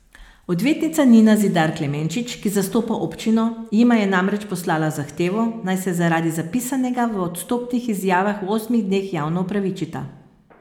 Odvetnica Nina Zidar Klemenčič, ki zastopa občino, jima je namreč poslala zahtevo, naj se zaradi zapisanega v odstopnih izjavah v osmih dneh javno opravičita.